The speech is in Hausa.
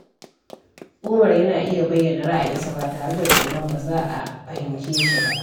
Umar yana iya bayyana ra’ayinsa ba tare da tsoron ba za a fahimce shi ba.